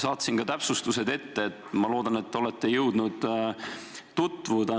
Saatsin ka täpsustused ette – ma loodan, et te olete jõudnud nendega tutvuda.